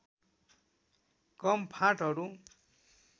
कम फाँटहरू